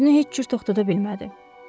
Amma özünü heç cür toxtada bilmədi.